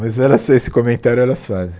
Mas elas esse comentário elas fazem.